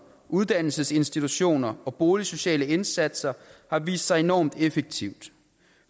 uddannelsesinstitutioner og boligsociale indsatser har vist sig enormt effektivt